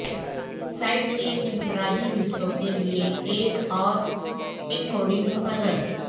site کے انفرادی حصوں کے لئے ایک اور انکوڈنگ مقرر